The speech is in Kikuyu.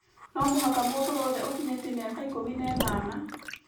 no mũhaka mũndũ wothe ũkinyĩtie mĩaka ĩkũmi na inana,